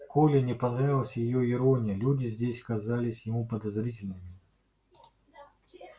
коле не понравилась её ирония люди здесь казались ему подозрительными